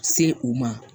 Se u ma